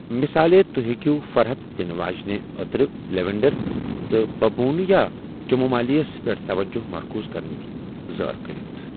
مِثالے، توہہِ ہیكِو فرحت دنہٕ واجِنہِ عترِ لیوینڈر تہٕ ببوٗنہٕ یا چمومایلس پیٹھ توجہ مركوٗز كرنٕچ زٲر كرِتھ ۔